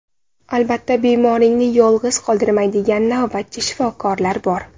Albatta bemoringni yolg‘iz qoldirmaydigan navbatchi shifokorlar bor.